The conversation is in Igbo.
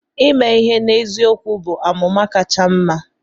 Ime ihe n'eziokwu bụ amụma kacha mma.